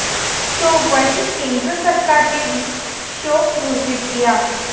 तो वहीं केंद्र सरकार ने भी शोक घोषित किया